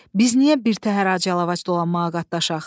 Biz niyə birtəhər ac yalavac dolanmağa qatlaşaq?